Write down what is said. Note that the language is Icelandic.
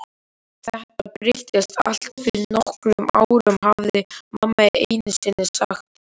Þetta breyttist allt fyrir nokkrum árum, hafði mamma einusinni sagt.